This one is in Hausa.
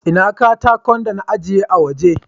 Ina katakan dan na ajege a waje.